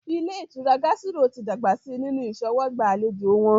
Ilé ìtura Gásírò tí dàgbà si nínu ìṣọwọ́gbà àlejò wọn